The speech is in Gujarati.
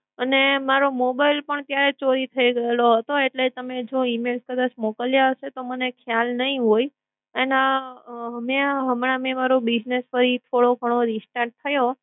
અને મારો mobile પણ ત્યારે ચોરી થઈ ગયેલો હતો અને જો તમે કદાચ email મોકલ્યા હશે તો મને ખ્યાલ નઇ હોય. એના અમે હમણાં મારો business કઈ થોડો ગણો restart થયો